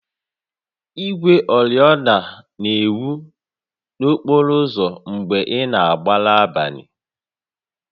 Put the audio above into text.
Igwe oriọna na-enwu n'okporo ụzọ mgbe ị na-agba n'abalị